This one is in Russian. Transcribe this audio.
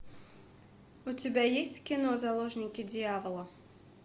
у тебя есть кино заложники дьявола